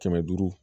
Kɛmɛ duuru